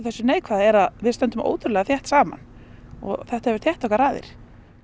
þessu neikvæða er að við stöndum þétt saman og þetta hefur þétt okkar raðir